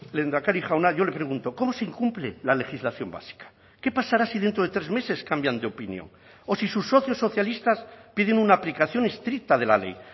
lehendakari jauna yo le pregunto cómo se incumple la legislación básica qué pasará si dentro de tres meses cambian de opinión o si sus socios socialistas piden una aplicación estricta de la ley